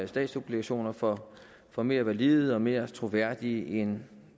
statsobligationer for for mere valide og mere troværdige end